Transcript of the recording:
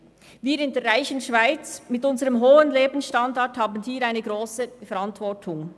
Wir in der reichen Schweiz mit unserem hohen Lebensstandard tragen diesbezüglich eine grosse Verantwortung.